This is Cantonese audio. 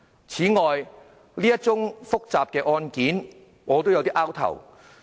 此外，對於這宗複雜的案件，我也摸不着頭腦。